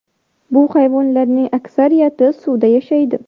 Bu hayvonlarning aksariyati suvda yashaydi.